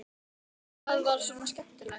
Gísli Óskarsson: Hvað var svona skemmtilegt?